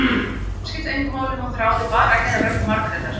Úlpan skipti engu máli, hún þráði bara að heyra rödd Margrétar.